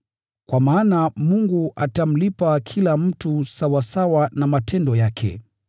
Kwa maana Mungu atamlipa kila mtu sawasawa na matendo yake.